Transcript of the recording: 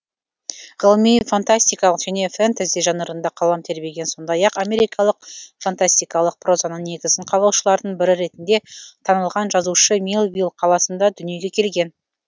ғылыми фантастикалық және фэнтези жанрында қалам тербеген сондай ақ америкалық фантастикалық прозаның негізін қалаушылардың бірі ретінде танылған жазушы милвилл қаласында дүниеге келген